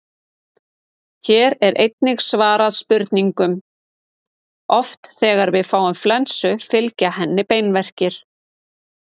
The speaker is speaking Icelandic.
Hér er einnig svarað spurningunum: Oft þegar við fáum flensu fylgja henni beinverkir.